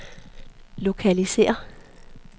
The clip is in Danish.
lokalisér